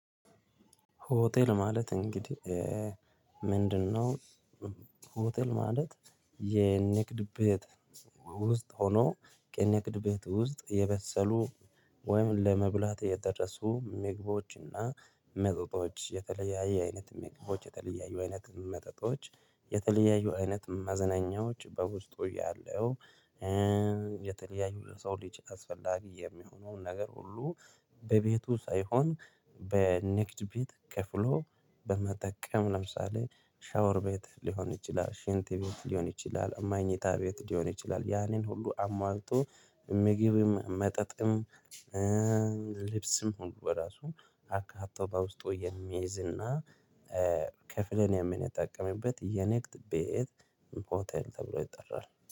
ሆቴል ማለት እንግዲህ ምንድነው? ሆቴል ማለት የንግድ ቤት ውስጥ ሆኖ ከንግድ ቤት ውስጥ የበሰሉ ወይም ለመብላት የደረሱ ምግባዎችና መጠጦች የተለያየ አይነት ምግባዎች የተለያየ አይነት መጠጦች የተለያዩ አይነት መዝናኛዎች በውስጡ ያለው። የተለያዩ ለሰው ሊች አስፈላጊ የሚሆነውን ነገር ሁሉ በቤቱ ሳይሆን በንግድ ቤት ከፍሎ በመጠቀም ለምሳሌ ሻወር ቤት ሊሆን ይችላል ሽንት ቤት ሊሆን ይችላል መኝታ ቤት ሊሆን ይችላል። ያኔን ሁሉ አሟልቶ ምግብም መጠጥም። ልብስም ሁሉ በራሱ አካቶ በውስጡ የሚያይዝ እና። ከፍለን የምንጠቀምበት የጣቀመበት የንግድ ቤት ሆቴል ተብሎ ይጠራል